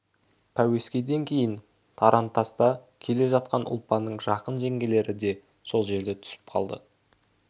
пәуескеден кейін тарантаста келе жатқан ұлпанның жақын жеңгелері де сол жерде түсіп қалды